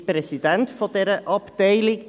Er ist Präsident dieser Abteilung.